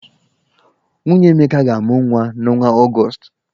Nwunye Emeka ga-amụ nwa n'ọnwa Ọgọọst.